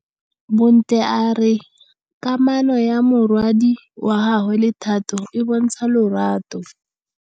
Bontle a re kamanô ya morwadi wa gagwe le Thato e bontsha lerato.